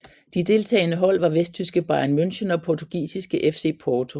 De deltagende hold var vesttyske Bayern München og portugisiske FC Porto